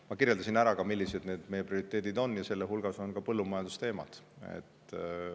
Ma kirjeldasin ka ära, millised meie prioriteedid on, ja nende hulgas on ka põllumajandusteemad.